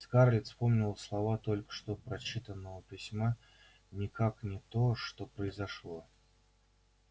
скарлетт вспомнились слова только что прочитанного письма никак не то что произошло